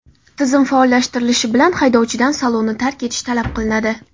Tizim faollashtirilishi bilan haydovchidan salonni tark etish talab qilinadi.